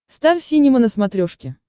стар синема на смотрешке